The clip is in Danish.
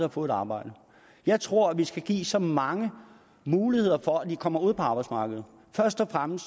at få et arbejde jeg tror at vi skal give så mange muligheder vi for at de kommer ud på arbejdsmarkedet